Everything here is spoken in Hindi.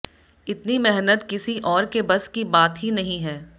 इतनी मेहनत किसी और के बस की बात ही नहीं है